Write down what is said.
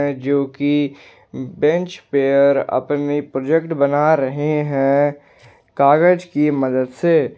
जोकी बेंच पर अपनी प्रोजेक्ट बना रहे हैं कागज की मदद से।